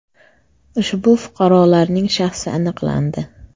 Ushbu fuqarolarning shaxsi aniqlandi.